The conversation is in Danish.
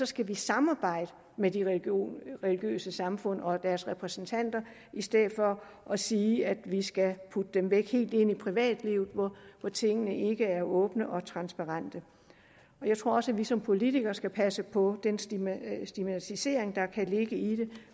skal vi samarbejde med de religiøse samfund og deres repræsentanter i stedet for at sige at vi skal putte det væk og helt ind i privatlivet hvor tingene ikke er åbne og transparente jeg tror også at vi som politikere skal passe på den stigmatisering stigmatisering der kan ligge i det